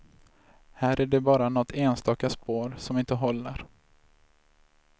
Här är det bara nåt enstaka spår som inte håller.